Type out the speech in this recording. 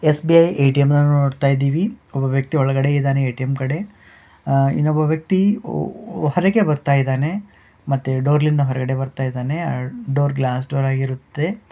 SBI. ATM. ನ ನೋಡತಾಯಿದೀವಿ. ಒಬ್ಬ ವ್ಯಕ್ತಿ ಒಳಗಡೆ ಇದಾನೆ ಎ.ಟಿ.ಎಮ್. ಕಡೆ ಅಹ್ ಇನ್ನೊಬ್ಬ ವ್ಯಕ್ತಿ ಹೊರಗೆ ಬರ್ತಾ ಇದ್ದಾನೆ ಮತ್ತೆ ಡೋರ್ ಲಿಂದ ಹೊರಗಡೆ ಬರ್ತಾ ಇದ್ದಾನೆ ಆ ಡೋರ್ ಗ್ಲಾಸ್ ಡೋರ್ ಆಗಿರುತ್ತೆ.